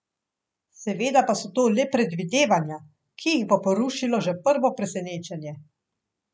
Seveda pa so to le predvidevanja, ki jih bo porušilo že prvo presenečenje.